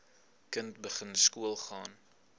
kind begin skoolgaan